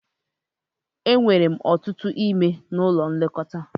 E nwere ọtụtụ ime n'ụlọ nlekọta